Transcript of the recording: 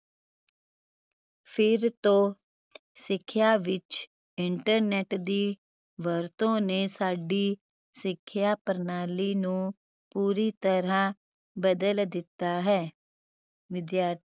ਫਿਰ ਤੋਂ ਸਿਖਿਆ ਵਿਚ internet ਦੀ ਵਰਤੋਂ ਨੇ ਸਾਡੀ ਸਿਖਿਆ ਪ੍ਰਣਾਲੀ ਨੂੰ ਪੂਰੀ ਤਰਾਹ ਬਦਲ ਦਿੱਤਾ ਹੈ ਵਿਧੀਆਂ